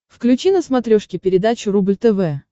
включи на смотрешке передачу рубль тв